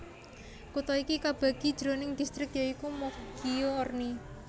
Kutha iki kabagi jroning distrik ya iku Moggio Orni